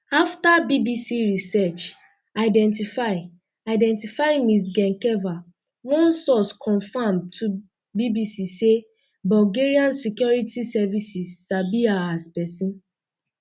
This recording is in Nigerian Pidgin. afta bbc research identify identify ms um gencheva one source confam to bbc say bulgarian security services um sabi her as person